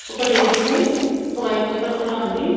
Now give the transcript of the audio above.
ఒక టేబుల్ పై ఒక వైట్ పేపర్ కూడా ఉంది.